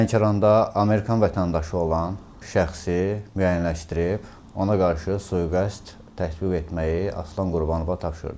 Lənkəranda Amerikan vətəndaşı olan şəxsi müəyyənləşdirib ona qarşı sui-qəsd tətbiq etməyi Aslan Qurbanova tapşırdım.